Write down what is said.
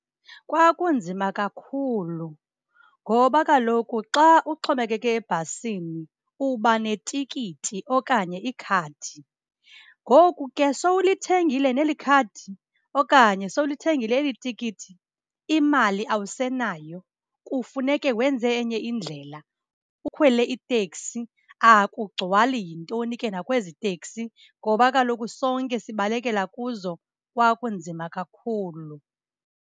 Kwakunzima kakhulu ngoba kaloku xa uxhomekeke ebhasini, uba netikiti okanye ikhadi. Ngoku ke sowulithengile neli khadi okanye sowulithengile eli tikiti, imali awusenayo kufuneke wenze enye indlela ukhwele itekisi. Akugcwali yintoni ke nakwezi teksi ngoba kaloku sonke sibalekela kuzo. Kwakunzima kakhulu.